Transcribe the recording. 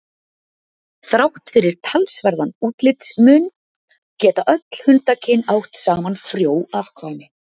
þrátt fyrir talsverðan útlitsmun geta öll hundakyn átt saman frjó afkvæmi